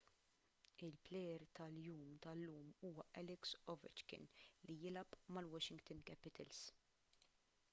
il-plejer tal-jum tal-lum huwa alex ovechkin li jilgħab mal-washington capitals